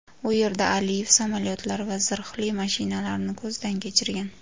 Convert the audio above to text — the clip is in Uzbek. u yerda Aliyev samolyotlar va zirhli mashinalarini ko‘zdan kechirgan.